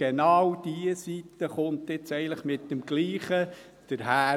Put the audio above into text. Genau diese Seite kommt jetzt hier eigentlich mit dem Gleichen daher.